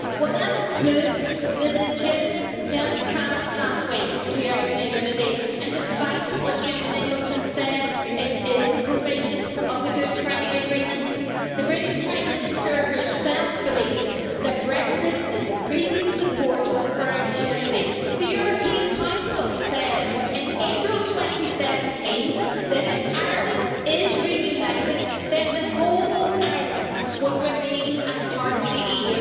That includes the legitimate, democratic pathway to Irish unity and, despite what Jim Nicholson said, it is a provision of the Good Friday Agreement. The British Prime Minister herself believes that Brexit is increasing support for Irish unity. The European Council said, in April 2017, that if Ireland is reunited then the whole island will remain a part of the EU.